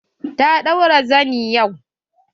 Ta ɗaura zani yau.